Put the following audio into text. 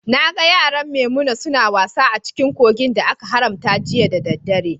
Na gan yaran Maimuna suna wasa a cikin kogin da aka haramta jiya ɗa ɗare.